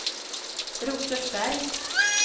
Rosersberg